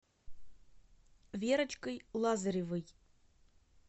верочкой лазаревой